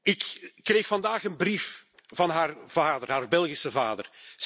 Ik kreeg vandaag een brief van haar vader, haar Belgische vader.